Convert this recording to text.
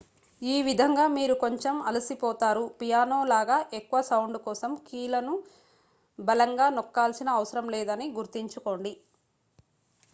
ఈ విధంగా మీరు కొంచెం అలసిపోతారు పియానో లాగా ఎక్కువ సౌండు కోసం కీలను బలంగా నొక్కాల్సిన అవసరం లేదని గుర్తుంచుకోండి